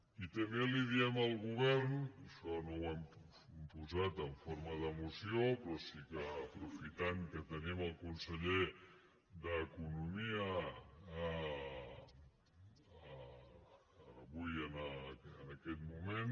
i també li diem al govern això no ho hem posat en forma de moció però sí que aprofitant que tenim el conseller d’economia avui en aquest moment